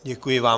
Děkuji vám.